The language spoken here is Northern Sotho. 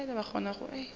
ba e le gona ge